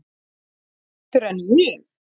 Betur en ég?